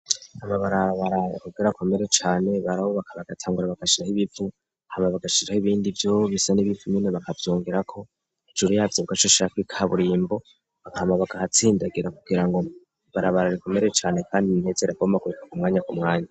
Amabarabara kugerakomere cane barabo bakabagatangura bagashirah ibivu hama bagashira ho ibindi vyo bisa n'ibipfumene bakavyongerako ijuru yavyo bwa aco shaka ikaburimbo bakamabaga ahatsindagira kugira ngo barabara rikomere cane, kandi imtezera boma akurika ku mwanya ku mwanya.